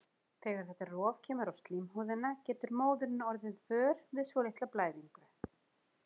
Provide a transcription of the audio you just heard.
Þegar þetta rof kemur á slímhúðina getur móðirin orðið vör við svolitla blæðingu.